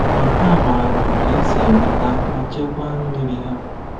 Ma ha maara otú e si enweta ma chekwaa mmiri ha.